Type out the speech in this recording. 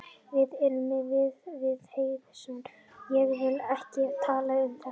Við erum í viðræðum við Héðinsson ég vil ekki tala um þetta í fjölmiðlum.